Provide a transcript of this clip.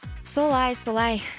солай солай